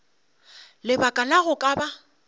lebaka la go ka ba